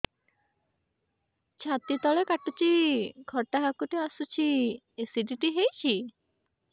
ଛାତି ତଳେ କାଟୁଚି ଖଟା ହାକୁଟି ଆସୁଚି ଏସିଡିଟି ହେଇଚି